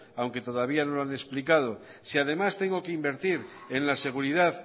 aunque todavía no lo han explicado si además tengo que invertir en la seguridad